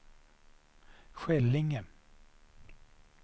Skällinge